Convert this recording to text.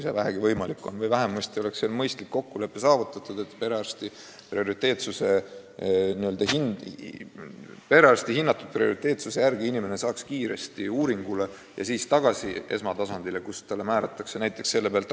Või vähemasti oleks mõistlik kokkulepe, et perearsti hinnangul kiiret abi vajav inimene saaks ruttu uuringule ja tuleks siis tagasi tema juurde, et talle saaks vajaliku ravi määrata.